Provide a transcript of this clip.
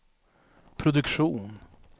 produktion